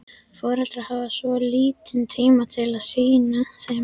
Foreldrarnir hafa svo lítinn tíma til að sinna þeim.